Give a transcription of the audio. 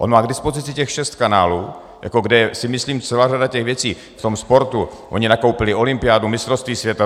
On má k dispozici těch šest kanálů, kde si myslím celá řada těch věcí v tom sportu - oni nakoupili olympiádu, mistrovství světa.